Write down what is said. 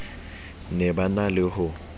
ne di na le ho